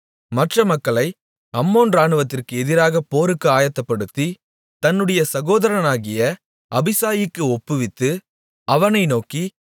மற்ற மக்களை அம்மோன் இராணுவத்திற்கு எதிராகப் போருக்கு ஆயத்தப்படுத்தி தன்னுடைய சகோதரனாகிய அபிசாயிக்கு ஒப்புவித்து அவனை நோக்கி